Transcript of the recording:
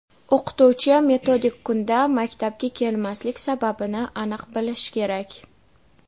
O‘qituvchi metodik kunda maktabga kelmaslik sababini aniq bilish kerak.